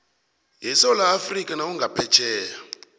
yesewula afrika nawungaphetjheya